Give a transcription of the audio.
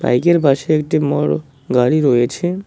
এইগের পাশে একটি বড় গাড়ি রয়েছে।